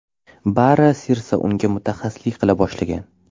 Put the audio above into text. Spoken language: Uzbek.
Bari Sirsa unga mutaxassislik qila boshlagan.